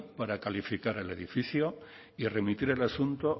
para calificar el edificio y remitir el asunto